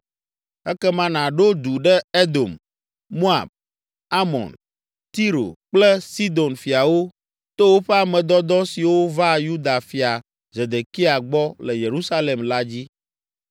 Ekema nàɖo du ɖe Edom, Moab, Amon, Tiro kple Sidon fiawo to woƒe ame dɔdɔ siwo va Yuda fia, Zedekia, gbɔ le Yerusalem la dzi.